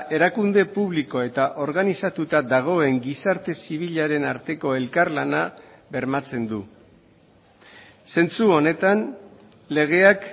erakunde publiko eta organizatuta dagoen gizarte zibilaren arteko elkarlana bermatzen du zentzu honetan legeak